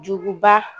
Juguba